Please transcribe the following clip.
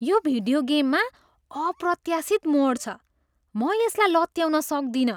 यो भिडियो गेममा अप्रत्याशित मोड छ। म यसलाई लत्याउन सक्दिनँ!